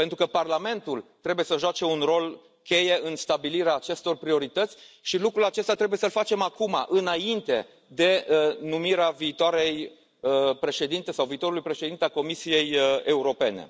Parlamentul trebuie să joace un rol cheie în stabilirea acestor priorități și lucrul acesta trebuie să l facem acum, înainte de numirea viitoarei președinte sau a viitorului președinte al Comisiei Europene.